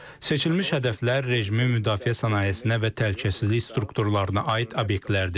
Seçilmiş hədəflər rejimin müdafiə sənayesinə və təhlükəsizlik strukturlarına aid obyektlərdir.